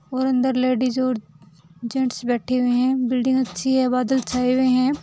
और अंदर लेडीज और जेंट्स बैठे हुए है बिल्डिंग अच्छी है बादल छाए हुए है।